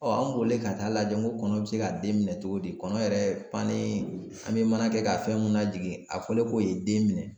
an bolilen ka taa lajɛ ko kɔnɔ bɛ se ka den minɛ cogo di, kɔnɔ yɛrɛ pa ni an bɛ mana kɛ ka fɛn minnu lajigin, a fɔlen ko ye den minɛ!